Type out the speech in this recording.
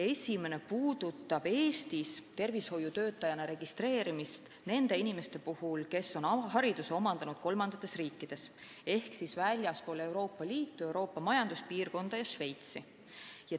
Üks neist käsitleb Eestis tervishoiutöötajana registreerimist, kui tegu on inimestega, kes on hariduse omandanud mõnes kolmandas riigis ehk siis väljaspool Euroopa Liitu ja muid Euroopa Majanduspiirkonna riike ja Šveitsi.